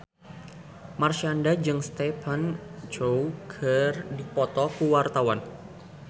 Marshanda jeung Stephen Chow keur dipoto ku wartawan